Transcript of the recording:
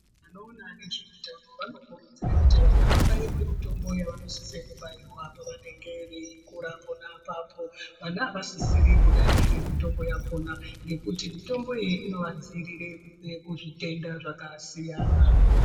Vanoona nezveutano vanokurudzire kuti vana vabairwe mitombo yavanosise kubairwa pavanenge veikura pana apapo. Vana havasisi kudarikira mitombo yakona ngekuti mitombo iyi inovadzirire kubva kuzvitenda zvakasiyana.